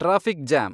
traffic jam